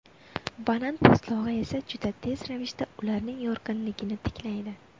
Banan po‘stlog‘i esa juda tez ravishda ularning yorqinligini tiklaydi.